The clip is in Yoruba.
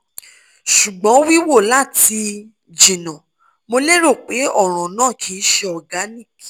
sugbon wiwo lati jina mo lero pe ọran naa kii ṣe organic